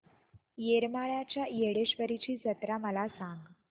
येरमाळ्याच्या येडेश्वरीची जत्रा मला सांग